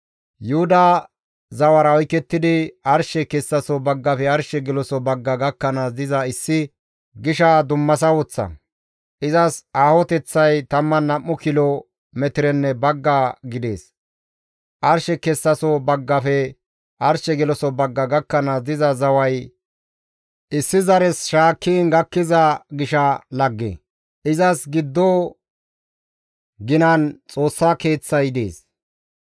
«Yuhuda zawara oykettidi, arshe kessaso baggafe arshe geloso bagga gakkanaas diza issi gisha dummasa woththa. Izas aahoteththay 12 kilo metirenne bagga gidees. Arshe kessaso baggafe arshe geloso bagga gakkanaas diza zaway issi zare shaakkiin gakkiza gisha lagge. Izas giddo ginan Xoossa Keeththay dees.